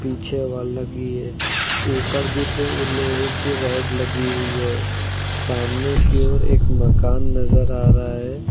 पीछे है। ऊपर भी दो लोहे की रोड लगी हुई हैं। सामने की ओर एक मकान नजर आ रहा है।